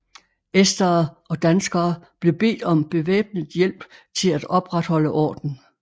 Estere og danskere blev bedt om bevæbnet hjælp til at opretholde orden